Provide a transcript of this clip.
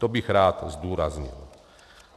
To bych rád zdůraznil.